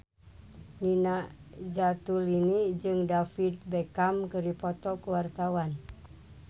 Nina Zatulini jeung David Beckham keur dipoto ku wartawan